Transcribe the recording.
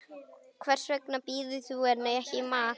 Hvers vegna býður þú henni ekki í mat.